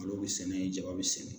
Malo bɛ sɛnɛ ye jaba bɛ sɛnɛ.